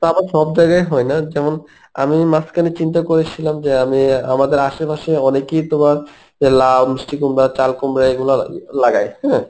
তা আবার সব জায়গায় হয় না যেমন আমি মাঝখানে চিন্তা করেছিলাম যে অ্যাঁ আমি আমাদের আশেপাশে অনেকেই তোমার লাউ, মিষ্টি কুমড়া, চাল কুমড়া এগুলা লা~ লাগায় হ্যাঁ